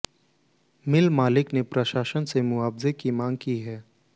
मिल मालिक ने प्रशासन से मुआवजे की मांग की है